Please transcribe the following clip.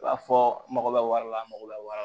B'a fɔ n mago bɛ wari la a mago bɛ wari la